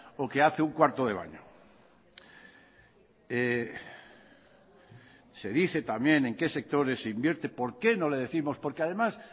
o que hace un cuarto de baño se dice también en qué sectores se invierte por qué no le décimos porque además